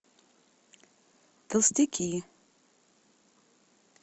толстяки